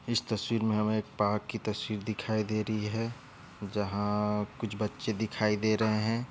इस तस्वीर में हमें एक पार्क की तस्वीर दिखाई दे रही है। जहाँ- कुछ बच्चे दिखाई दे रहे है।